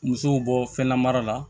Musow bɔ fɛn na mara la